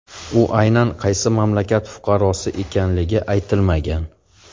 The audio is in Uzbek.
U aynan qaysi mamlakat fuqarosi ekanligi aytilmagan.